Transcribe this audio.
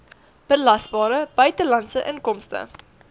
belasbare buitelandse inkomste